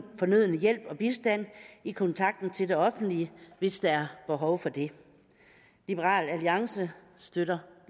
fornødne hjælp og bistand i kontakten til det offentlige hvis der er behov for det liberal alliance støtter